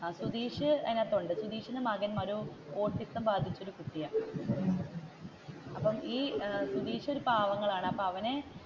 സുതീഷ് അതിന്റെയകത്തുണ്ട് സുതീഷിന്റെ മകൻ ഒരു ഓട്ടിസം ബാധിച്ച കുട്ടിയാണ്. അപ്പോ ഈ സുതീഷ് ഒരു പാവങ്ങളാണ് അപ്പൊ അവനെ,